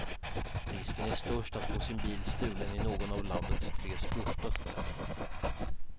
Risken är störst att få sin bil stulen i någon av landets tre största städer.